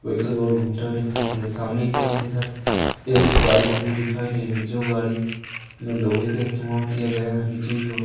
Medical गोल घूमता दिखाई दे रहा सामने की ओर इधर एक गाड़ी खड़ी दिखाई दे रही जो गाड़ी में लोहे के इस्तेमाल किया गया है नीचे की ओर।